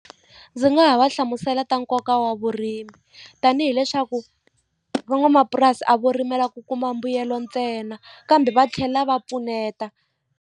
Ndzi nga ha va hlamusela ta nkoka wa vurimi tanihi leswaku van'wamapurasi a vo rimela ku kuma mbuyelo ntsena kambe va tlhela va pfuneta.